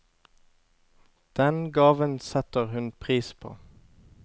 Den gaven setter hun pris på.